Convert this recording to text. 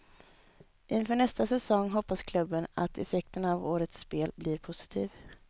Inför nästa säsong hoppas klubben att effekten av årets spel blir positiv.